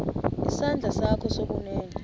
isandla sakho sokunene